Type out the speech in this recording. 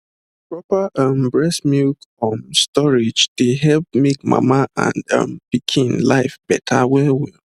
proper ehm breast milk um storage dey make mama and um pikin life beta well well